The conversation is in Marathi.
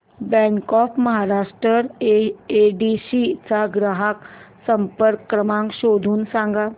बँक ऑफ महाराष्ट्र येडशी चा ग्राहक संपर्क क्रमांक शोधून सांग